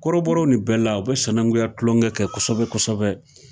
Kɔrɔbɔrɔw ni bɛla u bɛ senanguya tulonkɛ kɛ kosɛbɛ kosɛbɛ